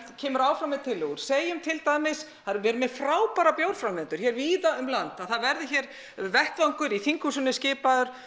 kemur áfram með tillögur segjum til dæmis við erum með frábæra bjórframleiðendur hér víða um land að það verði hér vettvangur í þinghúsinu skipaður